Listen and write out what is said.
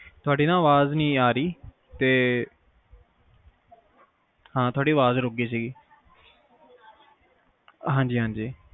ਤੁਹਾਡੀ ਨਾ ਅਵਾਜ ਨੀ ਆ ਰਹੀ ਤੇ ਹਾਂ ਤੁਹਾਡੀ ਅਵਾਜ ਰੁੱਕ ਗਈ ਸੀ ਹਨਜੀ ਹਨਜੀ